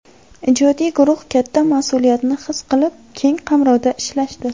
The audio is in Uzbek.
Ijodiy guruh katta mas’uliyatni his qilib, keng qamrovda ishlashdi.